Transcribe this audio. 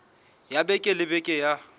ya beke le beke ya